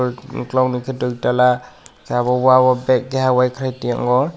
okolog hingke duitala angkhe o oya beg keha wekerai tengyo.